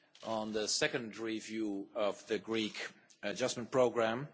on the second review of the Greek adjustment programme.